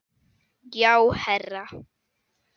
Já, herra